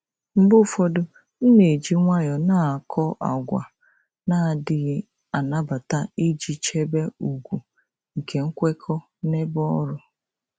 Mgbe ụfọdụ, m na-eji nwayọọ na-akọ àgwà na-adịghị anabata iji chebe ùgwù na nkwekọ n'ebe ọrụ.